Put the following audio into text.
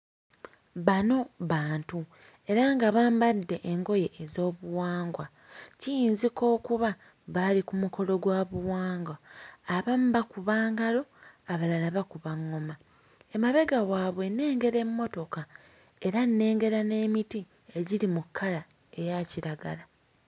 Bano bantu era nga bambadde engoye ez'obuwangwa. Kiyinzika okuba baali ku mukolo gwa buwangwa. Abamu bakuba ngalo, abalala bakuba ŋŋoma. Emabega waabwe nnengera emmotoka era nnengera n'emiti egiri mu kkala eya kiragala.